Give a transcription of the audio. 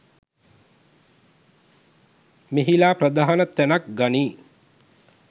මෙහිලා ප්‍රධාන තැනක් ගනියි.